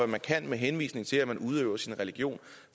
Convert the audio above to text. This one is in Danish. man kan med henvisning til at man udøver sin religion